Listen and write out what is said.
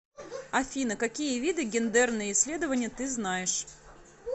афина какие виды гендерные исследования ты знаешь